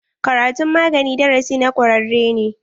Karatun magani darasi na ƙwararre ne.